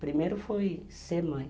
Primeiro foi ser mãe.